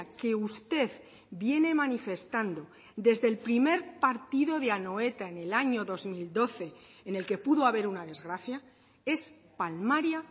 que usted viene manifestando desde el primer partido de anoeta en el año dos mil doce en el que pudo haber una desgracia es palmaria